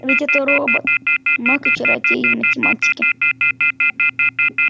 ведь этот робот маг и чародей в математике